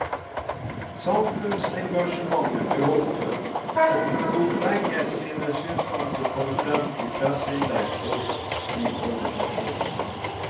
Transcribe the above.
Samfunnsengasjementet beholdt hun, og hun lot lenge sine synspunkter komme frem i presseinnlegg og i organisasjoner.